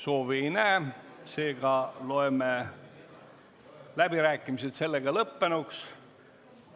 Soovi ei näe, seega loeme läbirääkimised lõppenuks.